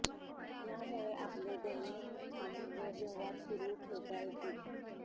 यामुळे आपले दैनिक काम व व्यवहार सुरू ठेवता येतील